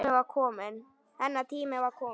Hennar tími var kominn.